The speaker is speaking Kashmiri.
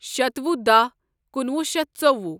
شتوہ دہ کنُوہ شیتھ ژوٚوُہ